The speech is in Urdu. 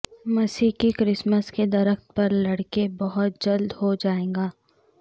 مسیح کی کرسمس کے درخت پر لڑکے بہت جلد ہو جائے گا